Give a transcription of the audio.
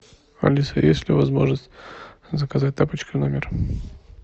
алиса есть ли возможность заказать тапочки в номер